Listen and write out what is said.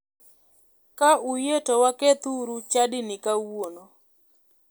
Ka uyie to wakethuru chadini kawuono.